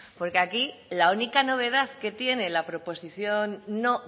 porque aquí la única novedad que tiene la proposición no